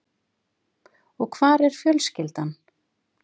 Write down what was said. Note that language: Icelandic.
Og hvar er fjölskyldan?